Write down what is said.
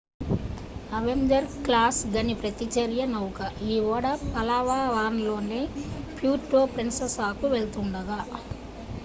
Avenger class గని ప్రతిచర్య నౌక ఈ ఓడ పలావాన్ లోని ప్యూర్టో ప్రిన్ససాకు వెళ్తుండగా